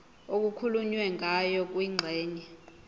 okukhulunywe ngayo kwingxenye